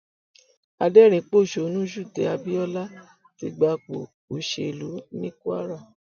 adẹrinínpọṣónú ṣùtẹ abiola ti gbapò òṣèlú ní kwara